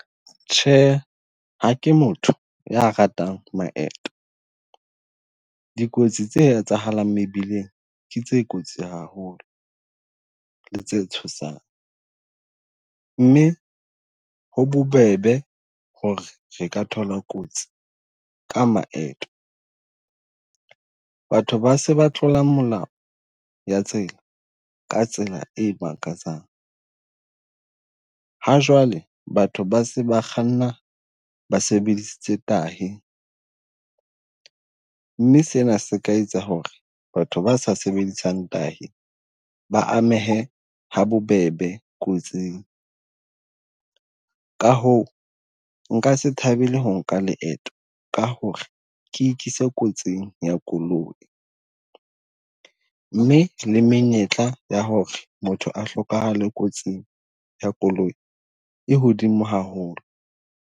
Tjhe, ha ke motho ya ratang maeto. Dikotsi tse etsahalang mebileng ke tse kotsi haholo le tse tshosang mme ho bobebe hore re ka thola kotsi ka maeto. Batho ba se ba tlola molao ya tsela ka tsela e makatsang. Ha jwale batho ba se ba kganna ba sebedisitse tahi, mme sena se ka etsa hore batho ba sa sebedisang tahi ba amehe ha bobebe kotsing. Ka ho nka se thabele ho nka leeto ka hore ke ikise kotsing ya koloi, mme le menyetla ya hore motho a hlokahale kotsing ya koloi e hodimo haholo.